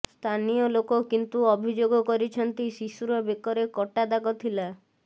ସ୍ଥାନୀୟ ଲୋକ କିନ୍ତୁ ଅଭିଯୋଗ କରିଛନ୍ତି ଶିଶୁର ବେକରେ କଟା ଦାଗ ଥିଲା